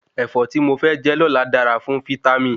Ẹ̀fọ́ tí mo fẹ jẹ lóla dára fún fítámì